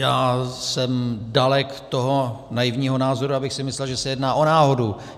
Já jsem dalek toho naivního názoru, abych si myslel, že se jedná o náhodu.